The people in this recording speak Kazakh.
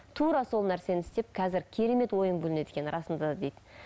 тура сол нәрсені істеп қазір керемет ойың бөлінеді екен расында да дейді